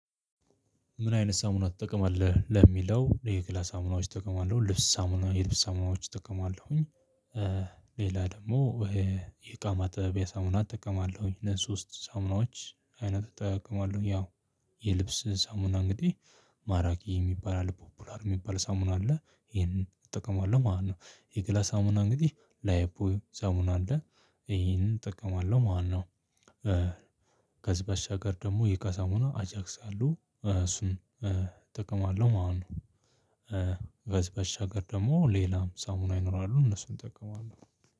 ምን አይነት ሳሙና ትጠቀማለህ? ለሚለው የገላ ሳሙናዎች እጠቀማለሁ ልብስ ሳሙና የልብስ ሳሙናዎች እጠቀማለሁኝ ሌላ ደግሞ ይሄ የእካ ማጠቢያ ሳሙና እጠቀማለሁኝ እነዚህ ሶስት ሳምናዎች አይነት እጠቀማለሁ ያው የልብስ ሳሙና እንግዲህ ማራኪ የሚባል አለ ፖፑላር የሚባል ሳሙና አለ ይሄንን እጠቀማለሁ ማለት ነው የገላ ሳሙና እንግዲህ ላይፍ ቦይ ሳሙና አለ ይሄንን እጠቀማለሁ ማለት ነው። ከዚህ በሻገር ደግሞ የእቃ ሳሙና አጃግስ አለው እሱን እጠቀማለሁ ማለት ነው። በሻገር ደግሞ ሌላም ሳሙና ይኖራሉ እነሱን እጠቀማለሁ።